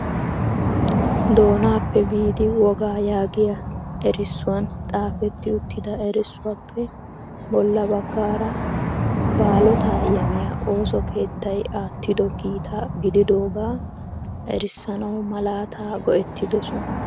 Doonappe biidi wogaa yaagiya erissuwan xaafeti uttida erissuwappe bolla baggaara baalota yammiya ooso keettay aattido kiita gididooga erissanaw malaata go"ertidoosona.